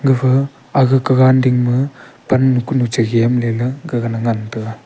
gafa ag kagan ding ma pannu kunu chegem ley la ngan gagan che ngan tega.